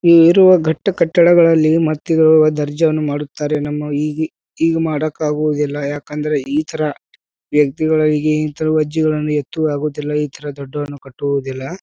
ಈಗ್ ಇರುವ ಘಟ್ಟು ಕಟ್ಟಡಗಳಲ್ಲಿ ಮರ್ತಿ ಗಳು ದರ್ಜೆ ಯನ್ನು ಮಾಡುತ್ತಾರೆ. ನಮ್ಮ ಈಗಿ ಈಗ್ ಮಾಡಕ್ಕಾಗುವುದಿಲ್ಲಾ. ಯಾಕಂದ್ರೆ ಈ ಥರ ವ್ಯಕ್ತಿ ಗಳು ಈಗ ಈ ತರಹದ ಜೀವನವನ್ನು ಎತ್ತು ಆಗುತ್ತಿಲ್ಲ. ಈ ಥರ ದಡ್ಡ ವನ್ನು ಕಟ್ಟುವುದಿಲ್ಲಾ.